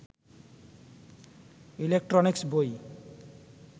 electronics বই